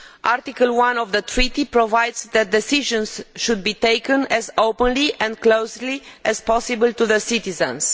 Article 1 of the Treaty provides that decisions should be taken as openly and closely as possible to the citizens.